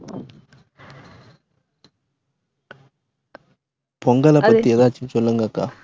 பொங்கல பத்தி எதாச்சும் சொல்லுங்கக்கா